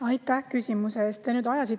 Aitäh küsimuse eest!